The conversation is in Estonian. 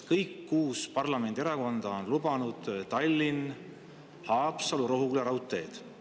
Kõik kuus parlamendierakonda on lubanud Tallinna–Haapsalu–Rohuküla raudteed.